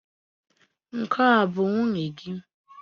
Nke a bụ nwunye gị?